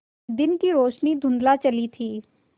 दिन की रोशनी धुँधला चली थी